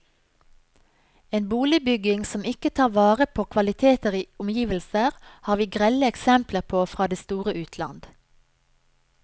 En boligbygging som ikke tar vare på kvaliteter i omgivelser, har vi grelle eksempler på fra det store utland.